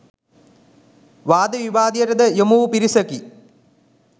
වාද විවාදාදියට ද යොමු වූ පිරිසකි.